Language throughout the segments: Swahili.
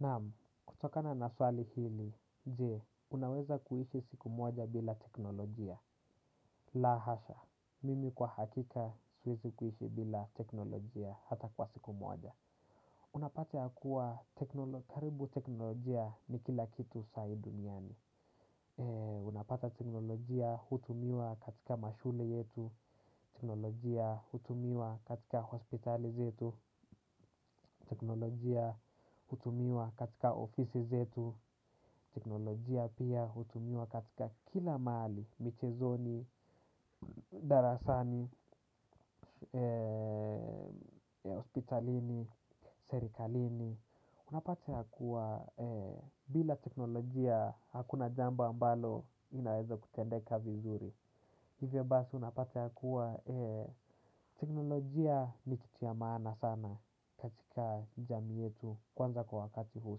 Naam, kutokana na swali hili, je, unaweza kuishi siku moja bila teknolojia. La hasha, mimi kwa hakika siwezi kuishi bila teknolojia hata kwa siku moja. Unapata yakuwa, karibu teknolojia ni kila kitu saa hii duniani. Unapata teknolojia hutumiwa katika mashule yetu, teknolojia hutumiwa katika hospitali zetu, teknolojia hutumiwa katika ofisi zetu. Teknolojia pia hutumiwa katika kila mahali michezoni, darasani, hospitalini, serikalini. Unapata kuwa bila teknolojia hakuna jambo ambalo linaweza kutendeka vizuri. Hivyo basi unapata kuwa teknolojia nikitu cha maana sana katika jamii yetu. Kwanza kwa wakati huu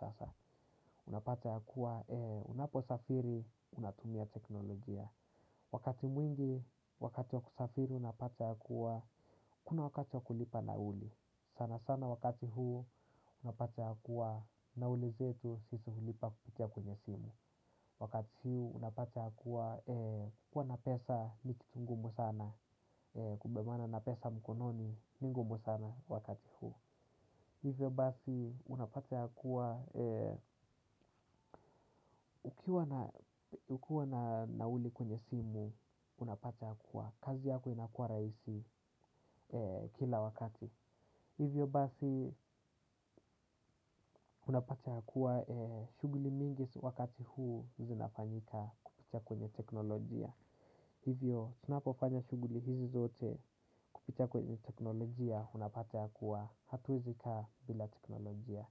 sasa unapata ya kuwa unapo safiri unatumia teknolojia. Wakati mwingi wakati wa kusafiri unapata ya kuwa kuna wakati wa kulipa nauli. Sana sana wakati huu unapata ya kuwa nauli zetu sisi hulipa kupitia kwenye simu. Wakati huu unapata kuwa na pesa nikitungumu sana. Kubebana na pesa mkononi ningumu sana wakati huu. Hivyo basi, unapata ya kuwa, ukiwa na nauli kwenye simu, unapata ya kuwa, kazi yako inakua rahisi kila wakati. Hivyo basi, unapata ya kuwa, shughuli mingi wakati huu, zinafanyika kupitia kwenye teknolojia. Hivyo, tunapo fanya shughuli hizi zote, kupita kwenye teknolojia, unapata ya kuwa, hatuwezi kaa bila teknolojia.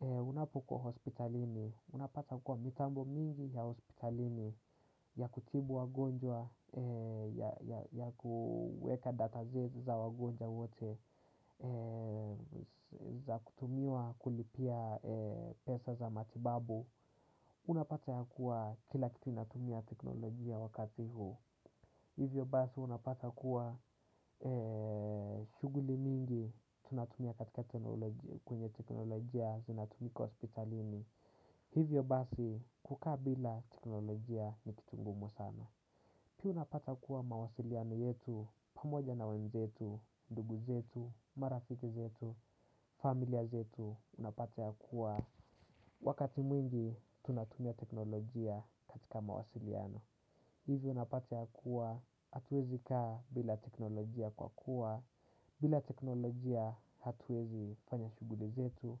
Unapo kuwa hospitalini, unapata kuwa mitambo mingi ya hospitalini ya kutibu wagonjwa, ya kueka data zetu za wagonjwa wote, za kutumiwa kulipia pesa za matibabu. Unapata ya kuwa kila kitu inatumia teknolojia wakati hu. Hivyo basi unapata kuwa shughuli mingi. Tunatumia katika teknolojia, kwenye teknolojia zinatumika hospitalini. Hivyo basi kukabila teknolojia ni kitungumu sana. Pia unapata kuwa mawasiliano yetu pamoja na wenzetu, ndugu zetu, marafiki zetu, familia zetu. Unapata ya kuwa wakati mwingi tunatumia teknolojia katika mawasiliano. Hivyo unapate yakuwa hatuwezi kaa bila teknolojia kwa kuwa bila teknolojia hatuwezi fanya shughuli zetu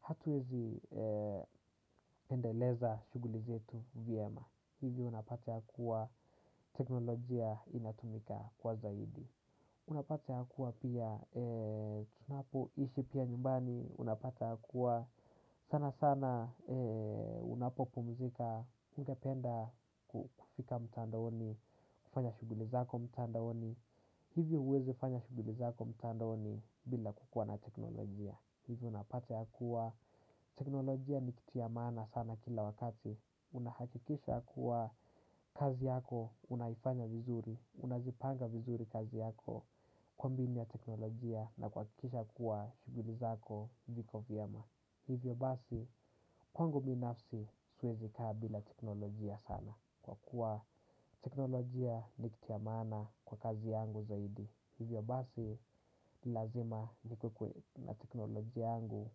hatuwezi endeleza shughuli zetu vyema. Hivyo unapate hakuwa teknolojia inatumika kwa zaidi. Unapata yakuwa pia tunapo ishi pia nyumbani unapate yakuwa sana sana unapo pumzika, ungependa kufika mtandaoni, kufanya shughuli zako mtandaoni. Hivyo huwezi fanya shughuli zako mtandaoni bila kukuwa na teknolojia. Hivyo unapata ya kuwa teknolojia ni kitu cha maana sana kila wakati. Unahakikisha kuwa kazi yako, unaifanya vizuri, unaipanga vizuri kazi yako, kwa mbinu ya teknolojia na kuhakikisha kuwa shughuli zako ziko vyema. Hivyo basi kwangu binafsi siwezi ka bila teknolojia sana. Kwa kuwa teknolojia nikitu ya maana kwa kazi yangu zaidi. Hivyo basi lazima nikuwe na teknolojia yangu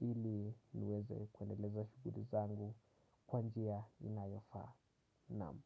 ili niweze kwendeleza shughuli zangu kwa njia inayofa. Naam.